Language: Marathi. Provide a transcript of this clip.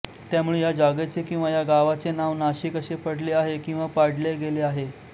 त्यामुळे या जागेचे किंवा या गावाचे नाव नाशिक असे पडले आहे किंवा पाडले गेले आहे